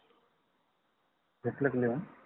घेतल का लिहून?